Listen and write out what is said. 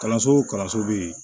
Kalanso o kalanso bɛ yen